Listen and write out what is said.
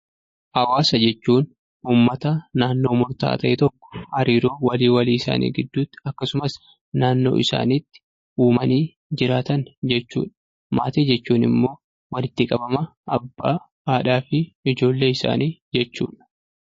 Hawaasa jechuun uummata naannoo murtaa'aa tokko keessatti, hariiroo walii walii isaanii gidduutti akkasumas naannoo isaaniitti uumanii jiraatan jechuudha. Maatii jechuun immoo walitti qabama abbaa, haadhaa fi ijoollee isaanii jechuudha.